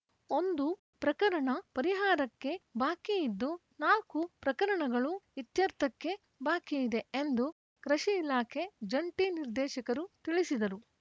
ಒಂದು ಪ್ರಕರಣ ಪರಿಹಾರಕ್ಕೆ ಬಾಕಿ ಇದ್ದು ನಾಲ್ಕು ಪ್ರಕರಣಗಳು ಇತ್ಯರ್ಥಕ್ಕೆ ಬಾಕಿ ಇದೆ ಎಂದು ಕೃಷಿ ಇಲಾಖೆ ಜಂಟಿ ನಿರ್ದೇಶಕರು ತಿಳಿಸಿದರು